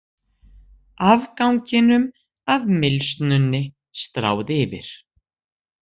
Afganginum af mylsnunni stráð yfir.